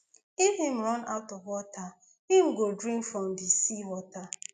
if im run out of water im go drink from di sea water